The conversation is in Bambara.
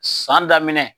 San daminɛ